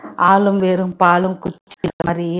ஆலும் வேரும் பாலும்